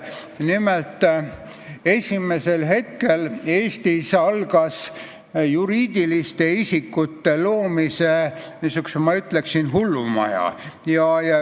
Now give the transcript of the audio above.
Nimelt, Eestis algas juriidiliste isikute loomise, ma ütleksin, hullumaja.